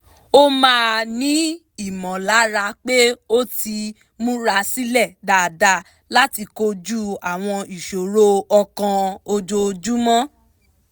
ó máa ń ní ìmọ̀lára pé ó ti mura sílẹ̀ dáadáa láti koju àwọn ìṣòro ọkàn ojoojúmọ́